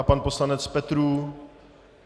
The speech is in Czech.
A pan poslanec Petrů?